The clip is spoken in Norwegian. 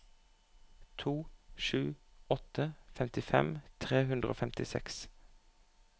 to sju åtte to femtifem tre hundre og femtiseks